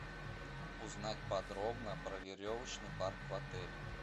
узнать подробно про веревочный парк в отеле